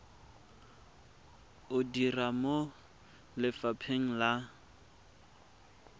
o dira mo lefapheng la